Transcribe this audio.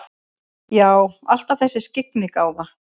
Já, alltaf þessi skyggnigáfa.